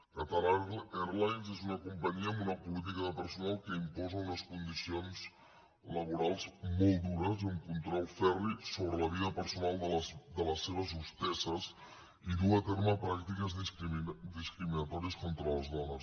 qatar airways és una companyia amb una política de personal que imposa unes condicions laborals molt dures i un control ferri sobre la vida personal de les seves hostesses i duu a terme pràctiques discriminatòries contra les dones